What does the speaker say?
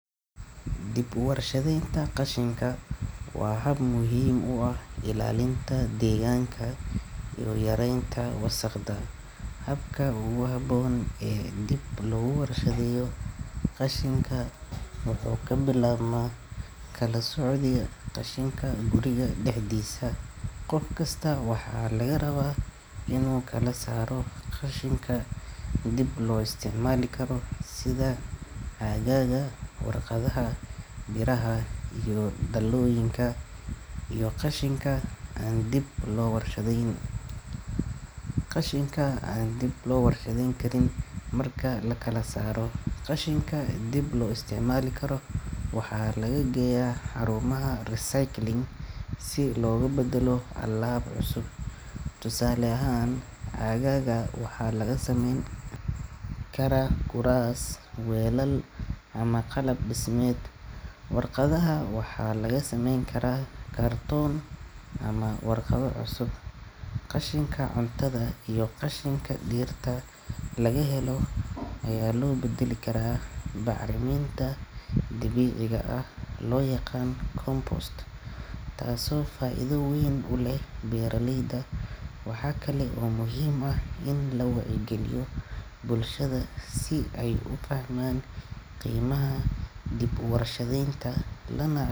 Dib uwarshadaynta qashinka waa hab muhiim u ah ilaalinta deegaanka iyo yareynta wasaqda. Habka ugu habboon ee dib loogu warshadeeyo qashinka wuxuu ka bilaabmaa kala soocidda qashinka guriga dhexdiisa. Qof kasta waxaa laga rabaa inuu kala saaro qashinka dib loo isticmaali karo sida caagagga, warqadaha, biraha iyo dhalooyinka, iyo qashinka aan dib loo warshadeyn karin. Marka la kala saaro, qashinka dib loo isticmaali karo waxaa lagu geeyaa xarumaha recycling si loogu beddelo alaab cusub. Tusaale ahaan, caagagga waxaa laga samayn karaa kuraas, weelal ama qalab dhismeed. Warqadaha waxaa laga samayn karaa kartoon ama warqado cusub. Qashinka cuntada iyo qashinka dhirta laga helo ayaa loo beddeli karaa bacriminta dabiiciga ah oo loo yaqaan compost, taasoo faa’iido weyn u leh beeralayda. Waxa kale oo muhiim ah in la wacyigeliyo bulshada si ay u fahmaan qiimaha dib uwarshadaynta, lana.